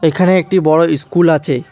এখানে একটি বড় ইস্কুল আছে।